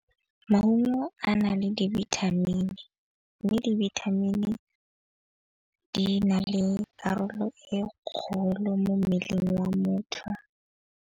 Maungo a na le dibithamini mme dibithamini di na le karolo e kgolo mo mmeleng wa motho.